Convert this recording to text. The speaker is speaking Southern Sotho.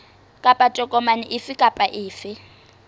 kapa tokomane efe kapa efe